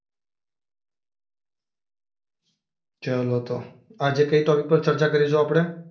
ચાલો તો આજે કઈ ટોપિક પર ચર્ચા કરીશું આપણે?